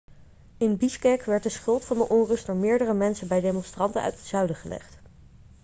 in bishkek werd de schuld van de onrust door meerdere mensen bij demonstranten uit het zuiden gelegd